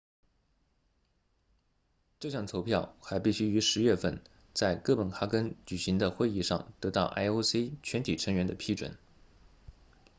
这项投票还必须于10月份在哥本哈根举行的会议上得到 ioc 全体成员的批准